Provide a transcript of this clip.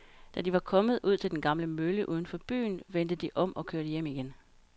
Da de var kommet ud til den gamle mølle uden for byen, vendte de om og kørte hjem igen.